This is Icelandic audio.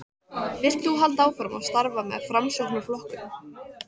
Vilt þú halda áfram að starfa með Framsóknarflokknum?